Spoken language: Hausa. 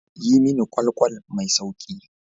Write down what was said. Yi mini ƙwal-ƙwal mai sauƙi.